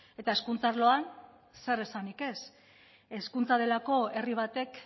eta hezkuntza arloan zer esanik ez hezkuntza delako herri batek